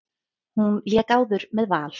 Hún lék áður með Val.